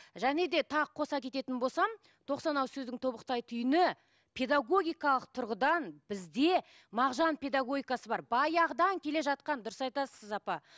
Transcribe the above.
және де тағы қоса кететін болсам тоқсан ауыз сөздің тобықтай түйіні педагогикалық тұрғыдан бізде мағжан педагогикасы бар баяғыдан келе жатқан дұрыс айтасыз сіз апа